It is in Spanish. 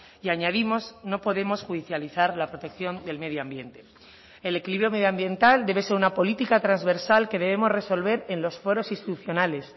y añadimos no podemos judicializar la protección del medio ambiente el equilibrio medioambiental debe ser una política transversal que debemos resolver en los foros institucionales